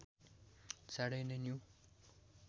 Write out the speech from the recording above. चाँडै नै न्यु